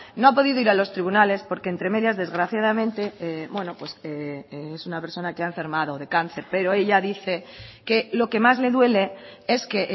no ha podido ir a los tribunales porque entre medio desgraciadamente bueno pues es una persona que ha enfermado de cáncer pero ella dice que lo que más le duele es que